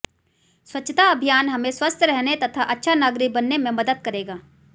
स्वच्छता अभियान हमें स्वस्थ रहने तथा अच्छा नागरिक बनने में मदद करेगा